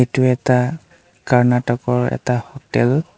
এইটো এটা কৰ্ণাটক ৰ এটা হোটেল ।